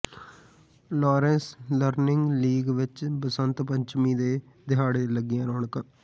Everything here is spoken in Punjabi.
ਲਾਰੇਂਸ ਲਰਨਿੰਗ ਲੀਗ ਵਿਚ ਬਸੰਤ ਪੰਚਮੀ ਦੇ ਦਿਹਾੜੇ ਤੇ ਲੱਗੀਆਂ ਰੌਣਕਾਂ